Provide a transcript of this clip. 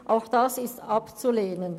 Auch diese sind abzulehnen.